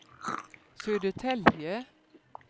Södertälje